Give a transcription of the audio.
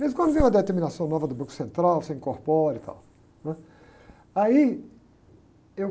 De vez em quando vem uma determinação nova do Banco Central, você incorpora e tal, né? Aí eu